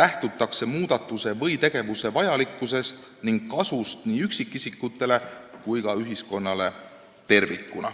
lähtutakse muudatuse või tegevuse vajalikkusest ning kasust nii üksikisikutele kui ka ühiskonnale tervikuna.